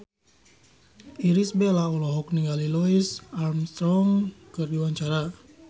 Irish Bella olohok ningali Louis Armstrong keur diwawancara